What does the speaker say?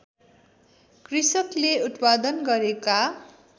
कृषकले उत्पादन गरेका